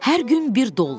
Hər gün bir dollar.